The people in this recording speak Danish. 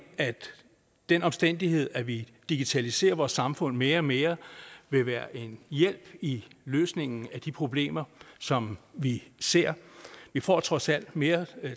at den omstændighed at vi digitaliserer vores samfund mere og mere vil være en hjælp i løsningen af de problemer som vi ser vi får trods alt mere